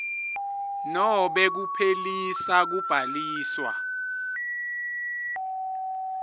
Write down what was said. nobe kuphelisa kubhaliswa